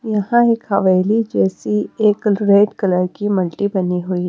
यहां एक हवेली जैसी एक रेड कलर की मल्टी बनी हुई--